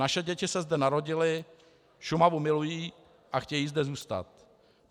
Naše děti se zde narodily, Šumavu milují a chtějí zde zůstat.